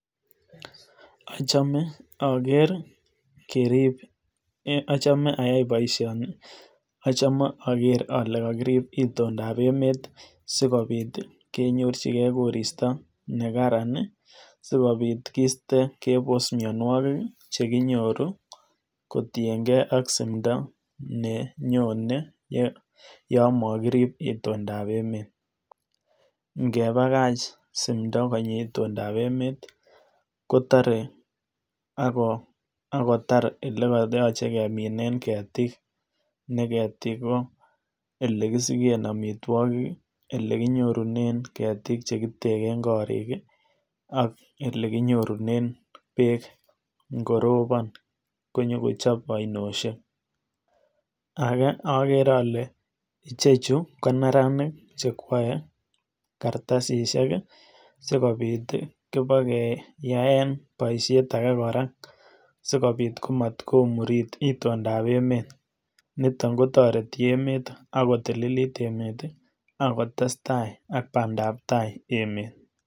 Achome keker kerib, achome ayai boishoni, achome oker olee kakirib itondab emet sikobiit konyorchikee koristo nekaran sikobit kiste kebos mionwokik chekinyoru kotieng'e ak simndo nenyone yoon mokirib itondab emet, ng'ebakach simdo konyi itondab emet kotore ak kotar elekoyoche keminen ketik, nee ketik ko elekisiken amitwokik elekinyorunen ketik chekiteken korik ak elee kinyorunen beek ng'orobon konyokochob ainoshek, akee okere olee ichechu ko neranik chekwoe kartasishek sikobit ibakeyaen boishet akee kora sikobiit komot komurit itondab emet, niton kotoreti emet ak kotililit emet ak kotestai ak bandab tai emet.